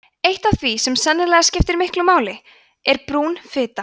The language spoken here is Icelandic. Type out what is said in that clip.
eitt af því sem sennilega skiptir miklu máli er brún fita